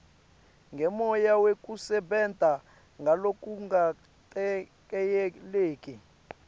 ngemoya wekusebenta ngalokungaketayeleki